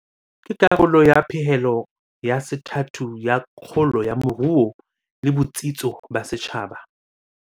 Ke karolo ya pehelo ya sethathu ya kgolo ya moruo le botsitso ba setjhaba.